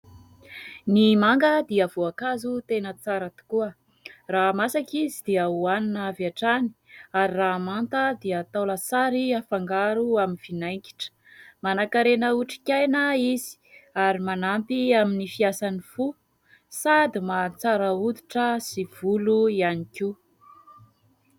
Ny manga dia voankazo tena tsara tokoa. Raha masaka izy dia hohanina avy hatrany ary raha manta dia atao lasary afangaro amin'ny vinaigitra. Manakarena otrikaina izy ary manampy amin'ny fiasan'ny fo sady mahatsara hoditra sy volo ihany koa.